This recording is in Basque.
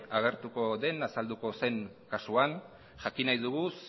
agertuko den azalduko zen kasuan jakin nahi dugu